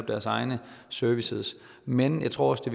deres egne services men jeg tror også det